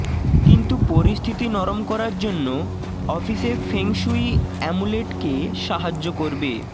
কিন্তু পরিস্থিতি নরম করার জন্য অফিসে ফেং শুই আমুলেটকে সাহায্য করবে